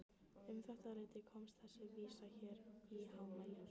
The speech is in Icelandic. Um þetta leyti komst þessi vísa hér í hámæli